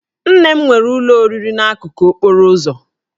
Nne m nwere ụlọ oriri n'akụkụ okporo ụzọ